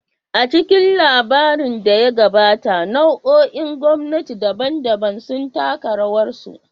A cikin labarin da ya gabata, nau'o'in gwamnati daban-daban sun taka rawarsu.